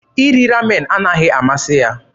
Iri Ramen anaghị amasị ya.